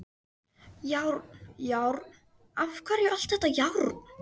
Járn, járn, af hverju allt þetta járn?